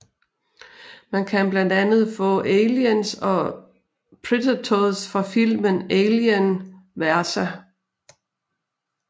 Man kan blandt andet få Aliens og Predators fra filmen Alien vs